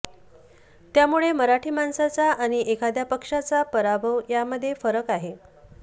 त्यामुळे मराठी माणसाचा आणि एखाद्या पक्षाचा पराभव यामध्ये फरक आहे